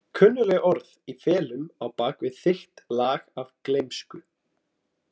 Kunnugleg orð í felum á bak við þykkt lag af gleymsku.